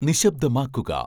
നിശ്ശബ്ദമാക്കുക